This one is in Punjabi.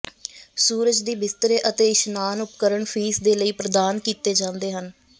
ਸੂਰਜ ਦੀ ਬਿਸਤਰੇ ਅਤੇ ਇਸ਼ਨਾਨ ਉਪਕਰਣ ਫੀਸ ਦੇ ਲਈ ਪ੍ਰਦਾਨ ਕੀਤੇ ਜਾਂਦੇ ਹਨ